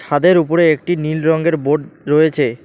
ছাদের উপরে একটি নীল রঙ্গের বোর্ড রয়েছে।